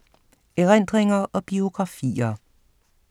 Erindringer og biografier